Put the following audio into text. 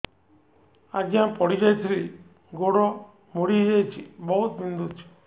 ଆଜ୍ଞା ପଡିଯାଇଥିଲି ଗୋଡ଼ ମୋଡ଼ି ହାଇଯାଇଛି ବହୁତ ବିନ୍ଧୁଛି